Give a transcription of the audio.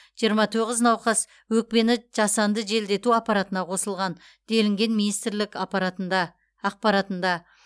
жиырма тоғыз науқас өкпені жасанды желдету аппаратына қосылған делінген министрлік ақпаратында